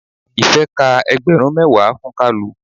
Ife ka ẹgbẹrun mẹwa fún kalu.